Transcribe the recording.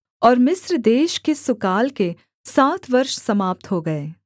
और मिस्र देश के सुकाल के सात वर्ष समाप्त हो गए